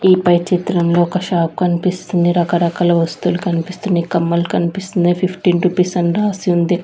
ఈ పై చిత్రంలో ఒక షాప్ కనిపిస్తుంది రకరకాల వస్తువులు కనిపిస్తూ ఉన్నాయ్ కమ్మలు కనిపిస్తూ ఉన్నాయ్ ఫిఫ్టీన్ రుపీస్ అని రాసి ఉంది.